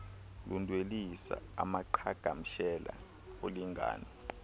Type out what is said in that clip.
ludwelisa amaqhagamshela olingano